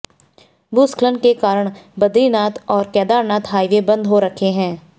भूस्खलन के कारण बदरीनाथ और केदारनाथ हाईवे बंद हो रखे हैं